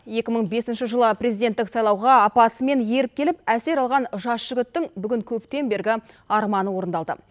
екі мың бесінші жылы президенттік сайлауға апасымен еріп келіп әсер алған жас жігіттің бүгін көптен бергі арманы орындалды